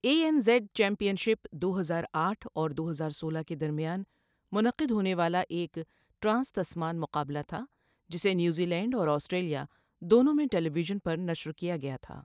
اے N Z championship دو ہزار آٹھ اور دو ہزار سولہ کے درمیان منعقد ہونے والا ایک ٹرانس تسمان مقابلہ تھا جسے نیوزی لینڈ اور آسٹریلیا دونوں میں ٹیلی ویژن پر نشر کیا گیا تھا۔